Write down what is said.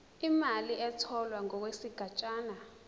imali etholwe ngokwesigatshana